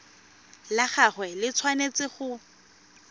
la gagwe le tshwanetse go